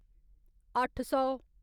अट्ठ् सौ